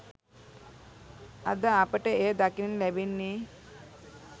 අද අපට එය දකින්න ලැබෙන්නේ